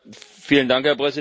Herr Präsident!